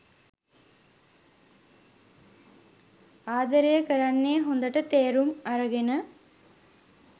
ආදරය කරන්නේ හොඳට තේරුම් අරගෙන.